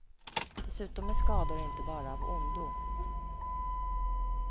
Dessutom är skador inte bara av ondo.